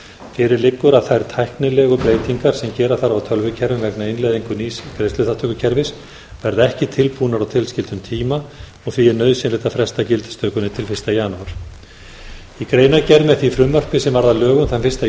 fyrir liggur að þær tæknilegu breytingar sem er þarf á tölvukerfum vegna innleiðingu nýs greiðsluþátttökukerfis verða ekki tilbúnar á tilskildum tíma og því er nauðsynlegt að fresta gildistökunni til fyrsta janúar í greinargerð með því frumvarpi sem varð að lögum þann fyrsta